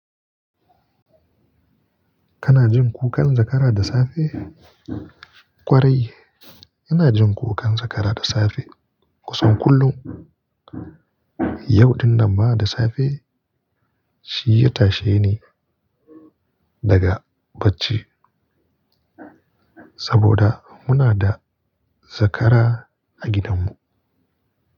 Kana jin kukan zakara da safe? Kwarai, ina jin kukan zakara da safe kusan kullum. Yau din nan ma da safe, shi ya tashe ni daga bacci saboda muna da zakara a gidanmu.